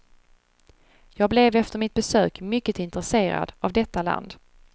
Jag blev efter mitt besök mycket intresserad av detta land.